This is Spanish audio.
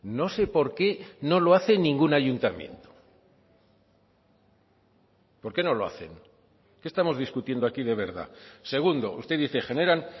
no sé por qué no lo hace ningún ayuntamiento por qué no lo hacen qué estamos discutiendo aquí de verdad segundo usted dice generan